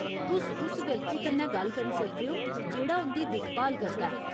तुस उस व्यक्ति कन्नै गल्ल करी सकदे ओ जेह्ड़ा उं'दी दिक्ख भाल करदा ऐ।